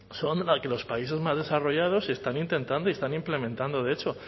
son las que los países más desarrollados están intentando y están implementando de hecho